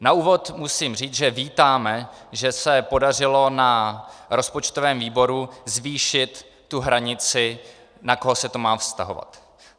Na úvod musím říct, že vítáme, že se podařilo na rozpočtovém výboru zvýšit tu hranici, na koho se to má vztahovat.